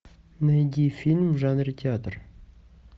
найди фильм в жанре театр